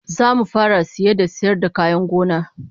Zamu fara saye da sayar da kayan gona